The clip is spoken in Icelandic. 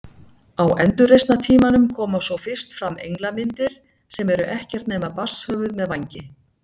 Á endurreisnartímanum koma svo fyrst fram englamyndir sem eru ekkert nema barnshöfuð með vængi.